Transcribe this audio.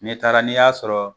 Ne taara n'i y'a sɔrɔ,